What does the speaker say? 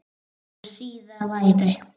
Þó síðar væri.